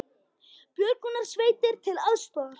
Björgunarsveitir til aðstoðar